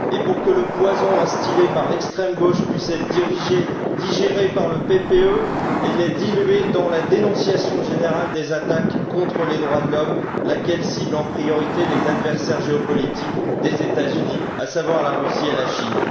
Et pour que le poison instillé par l'extrême gauche puisse être digéré par le groupe PPE, il est dilué dans la dénonciation générale des attaques contre les droits de l'homme, laquelle cible, en priorité, les adversaires géopolitiques des États Unis, à savoir la Russie et la Chine.